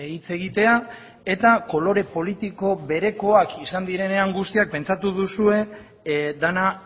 hitz egitea eta kolore politiko berekoak izan direnean guztiak pentsatu duzue dena